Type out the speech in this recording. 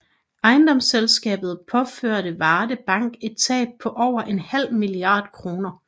Ejendomsselskabet påførte Varde Bank et tab på over en halv milliard kroner